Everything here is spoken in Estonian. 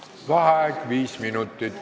Vaheaeg viis minutit.